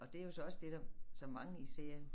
Og det er jo så også det der som mange især